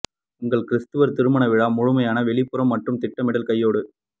உங்கள் கிரிஸ்துவர் திருமண விழா முழுமையான வெளிப்புறம் மற்றும் திட்டமிடல் கையேடு